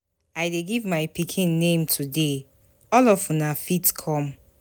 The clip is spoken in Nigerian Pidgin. I dey give my pikin name today, all of una fit come.